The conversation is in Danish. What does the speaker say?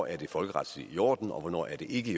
er folkeretsligt i orden og hvornår det ikke